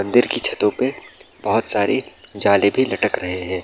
मंदिर की छतों पे बहुत सारी जाले भी लटक रहे हैं।